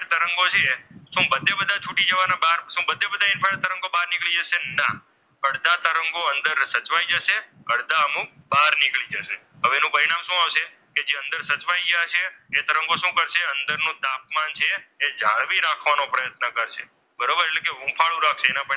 તરંગો અંદર સચવાઈ જશે અને અડધા અમુક બહાર નીકળી જશે હવે એનું પરિણામ શું આવશે કે જે અંદર સચવાઈ ગયા છે તે તરંગો શું કરશે અંદરનું તાપમાન જે છે તે જાળવી રાખવાનું પ્રયત્ન કરશે બરોબર એટલે કે હું પણ,